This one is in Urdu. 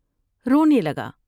رونے لگا ۔